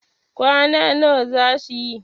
kwana nawa za su yi?